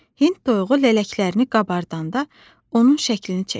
Hind toyuğu lələklərini qabardanda onun şəklini çəkirdi.